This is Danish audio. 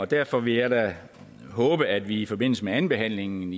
derfor vil jeg da håbe at vi i forbindelse med andenbehandlingen